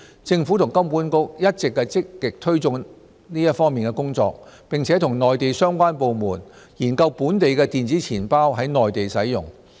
政府和金管局一直積極推動這方面的工作，並與內地相關部門研究本地電子錢包在內地使用。